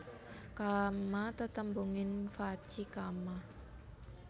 Kamma tetembungan vaci kamma